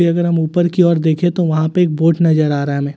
अगर हम ऊपर की ओर देखें तो वहां पे एक बोट नजर आ रहा है हमें।